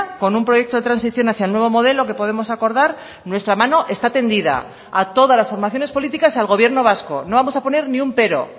con un proyecto de transición hacia el nuevo modelo que podemos acordar nuestra mano está tendida a todas las formaciones políticas al gobierno vasco no vamos a poner ni un pero